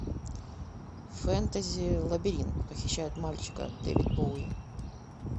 фэнтези лабиринт похищают мальчика дэвид боуи